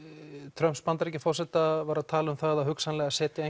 Trumps Bandaríkjaforseta var að tala um það að hugsanlega setja